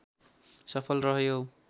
सफल रह्यो